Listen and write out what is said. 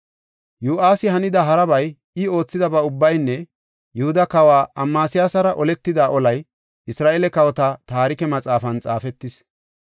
Yo7aasi hanida harabay, I oothidaba ubbaynne Yihuda Kawa Amasiyasara oletida olay Isra7eele Kawota Taarike Maxaafan xaafetis.